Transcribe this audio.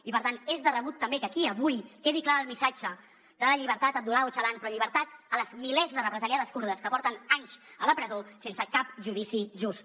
i per tant és de rebut també que aquí avui quedi clar el missatge de llibertat d’abdullah öcalan però llibertat a les milers de represaliades kurdes que porten anys a la presó sense cap judici just